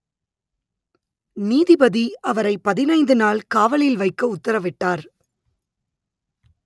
நீதிபதி அவரை பதினைந்து நாள் காவலில் வைக்க உத்தரவிட்டார்